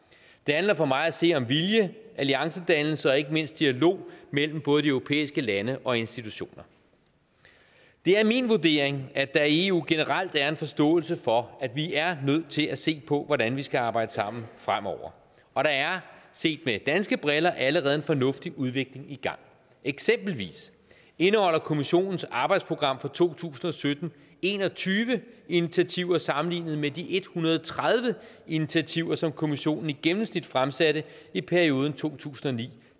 det handler for mig at se om vilje alliancedannelse og ikke mindst dialog mellem både de europæiske lande og institutioner det er min vurdering at der i eu generelt er en forståelse for at vi er nødt til at se på hvordan vi skal arbejde sammen fremover og der er set med danske briller allerede en fornuftig udvikling i gang eksempelvis indeholder kommissionens arbejdsprogram for to tusind og sytten en og tyve initiativer sammenlignet med de en hundrede og tredive initiativer som kommissionen i gennemsnit fremsatte i perioden to tusind og ni